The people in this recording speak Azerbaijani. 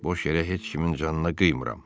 Boş yerə heç kimin canına qıymıram.